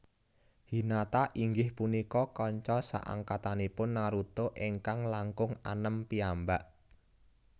Hinata inggih punika kanca saangkatanipun Naruto ingkang langkung anem piyambak